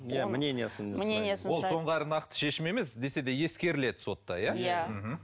иә мнениясын мнениясын ол соңғы нақты шешім емес десе де ескеріледі сотта иә иә мхм